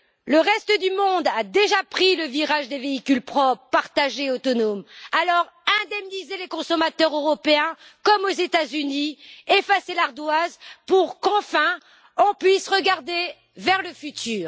Le reste du monde a déjà pris le virage des véhicules propres partagés autonomes. Alors, indemnisez les consommateurs européens comme aux États Unis, effacez l'ardoise, pour qu'enfin on puisse regarder vers le futur.